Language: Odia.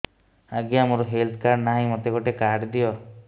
ଆଜ୍ଞା ମୋର ହେଲ୍ଥ କାର୍ଡ ନାହିଁ ମୋତେ ଗୋଟେ କାର୍ଡ ଦିଅ